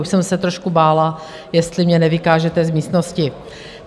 Už jsem se trošku bála, jestli mě nevykážete z místnosti.